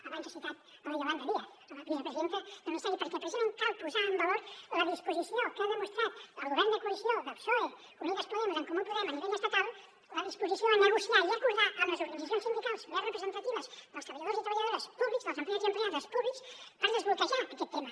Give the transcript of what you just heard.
abans ha citat la yolanda díaz la vicepresidenta del ministeri perquè precisament cal posar en valor la disposició que ha demostrat el govern de coalició del psoe unidas podemos en comú podem a nivell estatal la disposició a negociar i acordar amb les organitzacions sindicals més representatives dels treballadors i treballadores públics dels empleats i empleades públics per desbloquejar aquest tema